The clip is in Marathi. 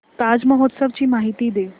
ताज महोत्सव ची माहिती दे